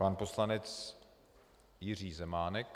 Pan poslanec Jiří Zemánek.